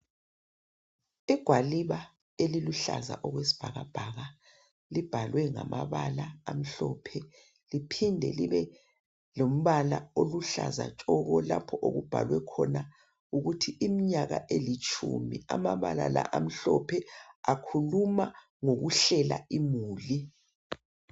Igwaliba eliluhlaza okwesibhaka bhaka libhalwe ngama bala amhlophe liphinde libe lombala oluhlaza tshoko lapho okubhalwe khona ukuthi iminyaka elitshumi amabala la amhlophe akhuluma ngokuhlela imuli.